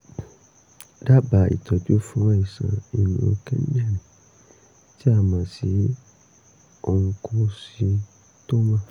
dábàá ìtọ́jú fún àìsàn inú kíndìnrín tí a mọ̀ sí oncocytoma